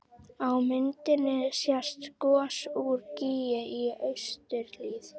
Á myndinni sést gos úr gíg í austurhlíð